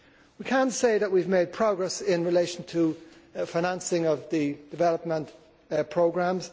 We can say that we have made progress in relation to financing of the development programmes.